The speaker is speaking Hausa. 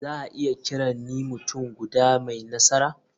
Za a iya kiran ni mutum guda mai nasara?